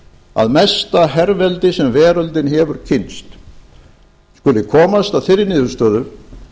að mesta herveldi sem veröldin hefur kynnst skuli komast að þeirri niðurstöðu